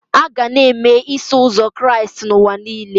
A ga na-eme Iso Ụzọ Kraịst n'ụwa niile.